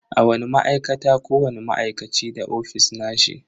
A wani ma'aikata, kowani ma'aikaci da ofis nashi.